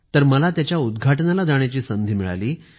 तर मला त्याच्या उदघाटनाला जाण्याची संधी मिळाली